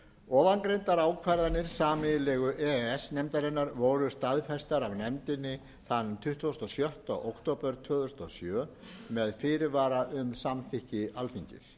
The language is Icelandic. ofangreindar ákvarðanir sameiginlegu e e s nefndarinnar voru staðfestar af nefndinni þann tuttugasta og sjötta október tvö þúsund og sjö með fyrirvara um samþykki alþingis